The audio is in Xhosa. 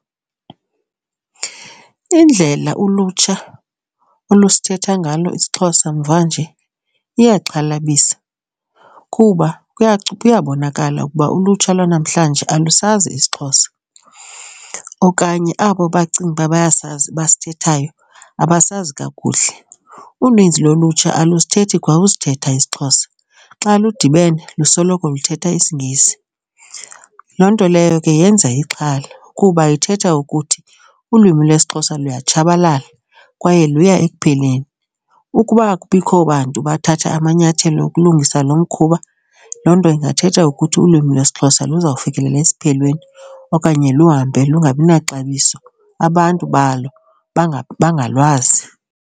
Indlela ulutsha olusithetha ngalo isiXhosa mva nje iyaxhalabisa kuba kuyabonakala ukuba ulutsha lwanamhlanje alusazi isiXhosa okanye abo bacinga uba bayasazi basithethayo abasazi kakuhle. Uninzi lolutsha alusithethi kwa usithetha isiXhosa, xa ludibene lusoloko luthetha isiNgesi. Loo nto leyo ke yenza ixhala kuba ithetha ukuthi ulwimi lwesiXhosa luyatshabalala kwaye luye ekupheleni. Ukuba akubikho bantu bathatha amanyathelo okulungisa lo mkhuba, loo nto ingathetha ukuthi ulwimi lwesiXhosa luzawfikelela esiphelweni okanye luhambe lungabi naxabiso, abantu balo bangangalwazi.